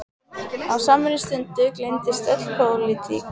Á samri stundu gleymdist öll pólitík.